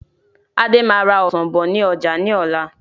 Adé máa ra Ọsàn bọ̀ ni ọjà ni ọ̀la.